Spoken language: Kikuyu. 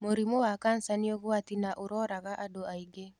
Mũrimũ wa kanca nĩũgwati na ũroraga andũ aingĩ.